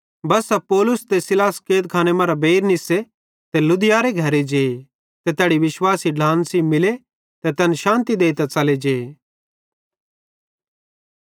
बस्सा पौलुस ते सीलास कैदखाने मरां बेइर निस्से ते लुदियारे घरे जे ते तैड़ी विश्वासी ढ्लान सेइं मिले ते तैन शान्ति देइतां च़ले जे